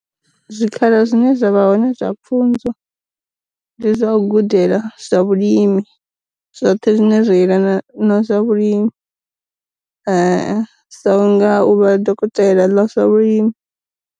Zwi khala zwine zwavha hone zwa pfunzo, ndi zwa u gudela zwa vhulimi, zwoṱhe zwine zwa iyelana na zwa vhulimi, sa u nga u vha dokotela ḽa zwa vhulimi.